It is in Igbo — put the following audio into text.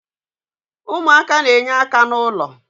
umuaka na-enye aka na ulo